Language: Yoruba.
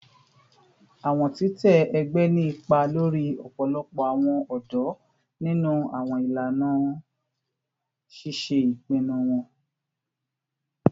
Awọn titẹ ẹgbẹ ni ipa lori ọpọlọpọ awọn ọdọ ninu awọn ilana ṣiṣe ipinnu wọn